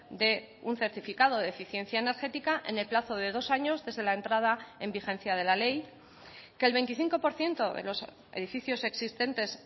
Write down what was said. de un certificado de eficiencia energética en el plazo de dos años desde la entrada en vigencia de la ley que el veinticinco por ciento de los edificios existentes